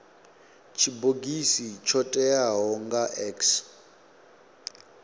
tshibogisi tsho teaho nga x